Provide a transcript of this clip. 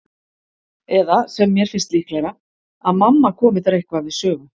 Eða, sem mér finnst líklegra, að mamma komi þar eitthvað við sögu.